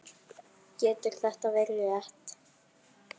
Getur þetta verið rétt?